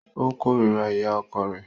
O kòrira ìyá ọkọ rẹ.